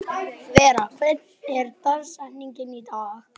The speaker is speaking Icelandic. Vera, hver er dagsetningin í dag?